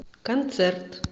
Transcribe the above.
концерт